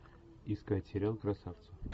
искать сериал красавцы